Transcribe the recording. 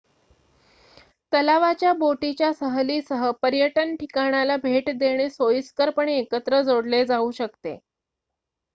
तलावाच्या बोटीच्या सहलीसह पर्यटन ठिकाणाला भेट देणे सोयीस्करपणे एकत्र जोडले जाऊ शकते